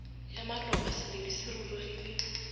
ya maloba seledu se rurugile